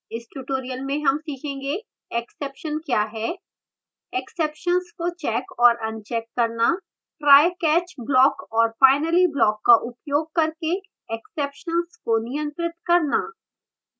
इस tutorial में हम सीखेंगे: exception क्या है exceptions को checked और अनचेक करना trycatch block और finally block का उपयोग करके exceptions को नियंत्रित करना